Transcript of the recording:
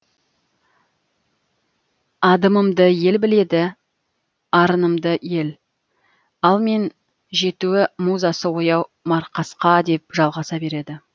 адымымды ел біледі арынымды ел ал мен жеті музасы ояу марқасқа деп жалғаса береді